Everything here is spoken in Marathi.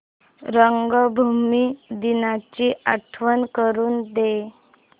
रंगभूमी दिनाची आठवण करून दे